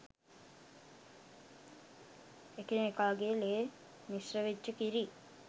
එකිනෙකාගෙ ලේ මිශ්‍රවෙච්ච කිරි